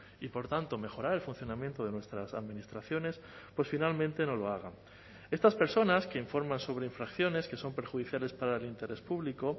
y por tanto mejorar el funcionamiento de nuestras administraciones pues finalmente no lo haga estas personas que informan sobre infracciones que son perjudiciales para el interés público